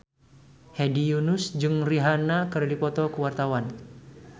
Hedi Yunus jeung Rihanna keur dipoto ku wartawan